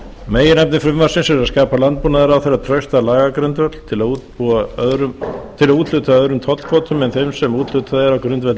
meginefni frumvarpsins er að skapa landbúnaðarráðherra traustan lagagrundvöll til að úthluta öðrum tollkvótum en þeim sem úthlutað er á grundvelli